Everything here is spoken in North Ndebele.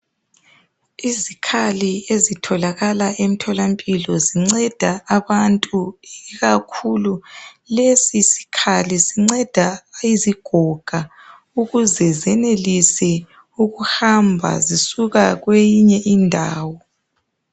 Izikhali ezitholakala emtholampilo zinceda abantu ikakhulu lesi sikhali sinceda izigoga ukuze zenelise ukuhamba zisuka kweyinye indawo.